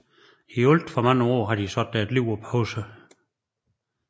I alt for mange år har de sat deres liv på pause